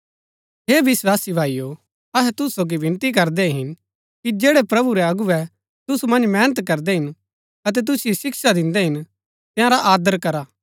हे विस्वासी भाईओ अहै तुसु सोगी विनती करदै हिन कि जैड़ै प्रभु रै अगुवै तुसु मन्ज मेहनत करदै हिन अतै तुसिओ शिक्षा दिन्दै हिन तंयारा आदर करा